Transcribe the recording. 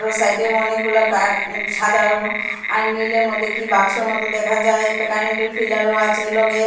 আরো সাইডে অনেকগুলো কার উম সাদা আর নীলের মধ্যে কি বাক্সের মত দেখা যায় একটা কারেন্টের ফিলারও আছে এর লগে।